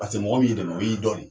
Paseke mɔgɔ mun y'i dɛmɛ ,o b'i dɔn de.